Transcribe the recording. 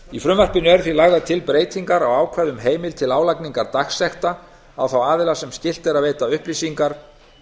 í frumvarpinu eru því lagðar til breytingar á ákvæði um heimild til álagningar dagsekta á þá aðila sem skylt er að veita upplýsingar